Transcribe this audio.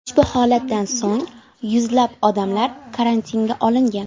Ushbu holatdan so‘ng yuzlab odamlar karantinga olingan.